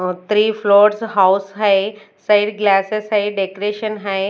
Three floors house है side glasses है decoration है।